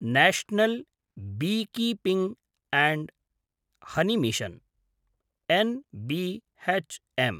national beekeeping & honey mission N B H M